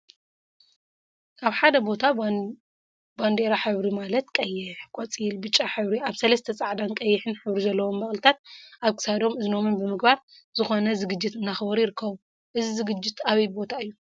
አብ ሓደ ቦታ ባንዴራ ሕብሪ ማለት ቀይሕ፣ ቆፃልን ብጫን ሕብሪ አብ ሰለስተ ፃዕዳን ቀይሕን ሕብሪ ዘለዎም በቅሊታት አብ ክሳዶምን እዝኖምን ብምግባር ዝኮነ ዝግጅት እናአክበሩ ይርከቡ፡፡ እዚ ዝግጅት አበይ ቦታ እዩ?